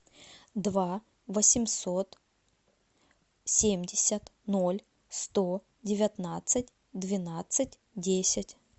два восемьсот семьдесят ноль сто девятнадцать двенадцать десять